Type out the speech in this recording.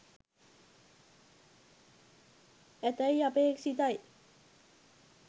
ඇතැයි අපේක්ෂිතයි